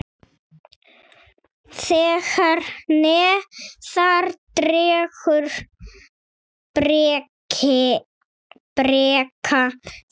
Þegar neðar dregur breikka þær.